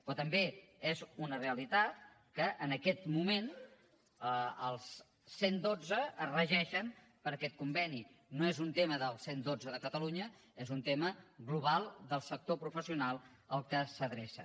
però també és una realitat que en aquest moment els cent i dotze es regeixen per aquest conveni no és un tema del cent i dotze de catalunya és un tema global del sector professional a què s’adrecen